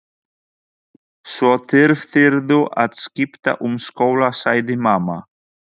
Svo þyrftirðu að skipta um skóla sagði mamma.